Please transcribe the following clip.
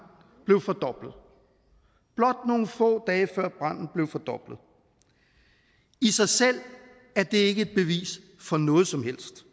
blev fordoblet blot nogle få dage før branden blev fordoblet i sig selv er det ikke et bevis for noget som helst